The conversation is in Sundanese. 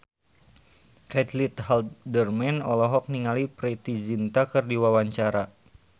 Caitlin Halderman olohok ningali Preity Zinta keur diwawancara